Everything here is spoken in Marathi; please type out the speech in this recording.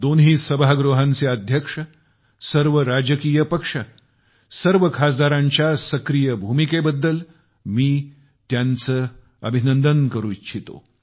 दोन्ही सभागृहांचे अध्यक्ष सर्व राजकीय पक्ष सर्व खासदारांच्या सक्रिय सहभागाबद्दल मी त्यांचे अभिनंदन करू इच्छितो